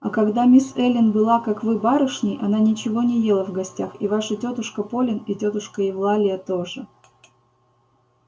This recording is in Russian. а когда мисс эллин была как вы барышней она ничего не ела в гостях и ваша тётушка полин и тётушка евлалия тоже